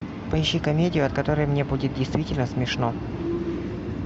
поищи комедию от которой мне будет действительно смешно